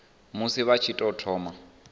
musi vha tshi tou thoma